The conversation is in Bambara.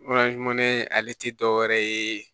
ale ti dɔwɛrɛ ye